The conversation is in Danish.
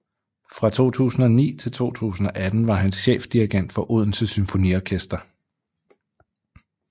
Fra 2009 til 2018 var han chefdirigent for Odense Symfoniorkester